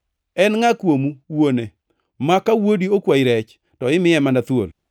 “En ngʼa kuomu, wuone, ma ka wuodi okwayi rech, to imiye mana thuol?